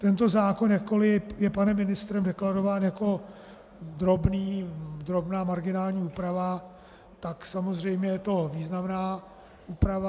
Tento zákon, jakkoliv je panem ministrem deklarován jako drobná marginální úprava, tak samozřejmě je to významná úprava.